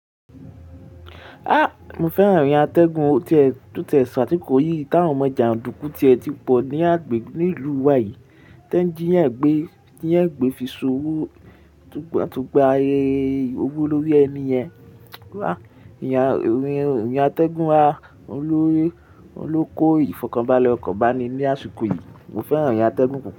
A! Mo fẹ́ràn èyí atẹ́gùn tí ẹ sọ àti kò yìí táwọn ọmọ jàndùkú tí ẹ ti pọ̀ ní agbègbè ní ìlú wa yìí. Tańjí yan gbé, jí yan gbé fi sowó túgbàtúgbà owó lórí ẹni yẹn. Wa! Ìyá, ìrin atẹ́gùn a o ló kó ìfọ̀kànbalẹ̀ ọkan bàni ní àsìkò yìí. Mo fẹ́ràn irin atẹ́gùn púpọ̀.